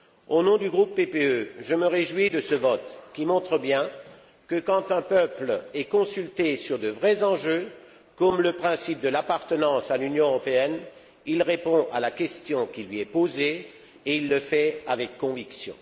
Au nom du groupe PPE, je me réjouis de ce vote qui montre bien que, quand un peuple est consulté sur de vrais enjeux, comme le principe de l'appartenance à l'Union européenne, il répond à la question qui lui est posée et il le fait avec conviction.